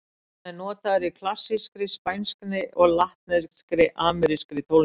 Hann er notaður í klassískri, spænskri og latnesk-amerískri tónlist.